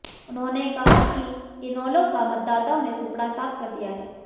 उन्होंने कहा कि इनेलो का मतदाताओं ने सूपड़ा साफ कर दिया है